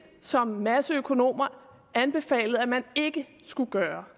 som en masse økonomer anbefalede at man ikke skulle gøre